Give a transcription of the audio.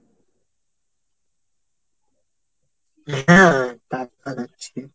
হ্যাঁ টাটকা থাকছে।